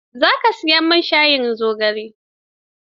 Za ka siyi ganyen shayin zogalen?